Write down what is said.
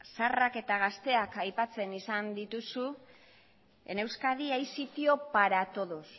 zaharrak eta gazteak aipatzen esan dituzu en euskadi hay sitio para todos